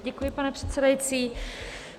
Děkuji, pane předsedající.